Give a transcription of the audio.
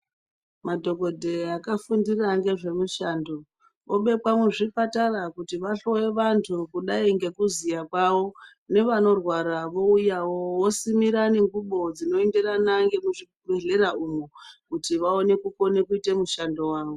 Madhokodheya akafundira nezvei mushando obekwa muzvipatara kuti vahloye vantu kudai nekuziva kwavo nevanorwaravo wouyawo visimira ngengubo dzinoenderana ngemuzvibhlera umo kuti vaone kuita mishando yavo.